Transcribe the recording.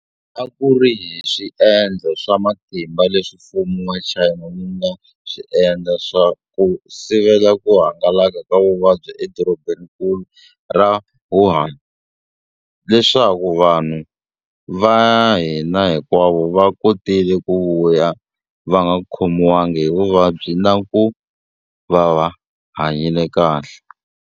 A ku ri hi swiendlo swa matimba leswi mfumo wa China wu nga swi endla ku sivela ku hangalaka ka vuvabyi edorobeninkulu ra Wuhan, leswaku vanhu va hina hinkwavo va kotile ku vuya va nga khomiwanga hi vuvabyi na ku va va hanyile kahle.